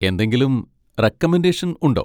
എന്തെങ്കിലും റെക്കമെൻഡേഷൻ ഉണ്ടോ?